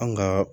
An ga